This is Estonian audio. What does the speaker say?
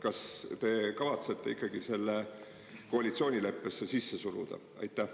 Kas te kavatsete ikkagi selle koalitsioonileppesse sisse suruda?